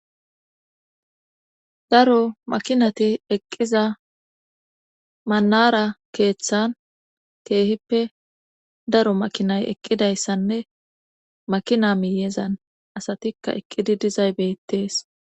daro makinati eqqiza manara keeththan keehippe daro makinay eqqidayssanne makinamiyeezan asatikka eqqidi dizay beettees